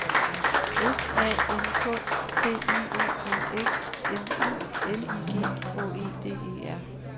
S A N K T I O N S M U L I G H E D E R